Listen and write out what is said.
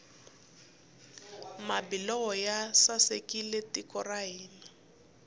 mabulomu ya sasekisa tiko ra hina